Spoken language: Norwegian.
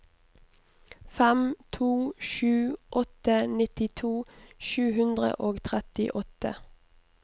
fem to sju åtte nittito sju hundre og trettiåtte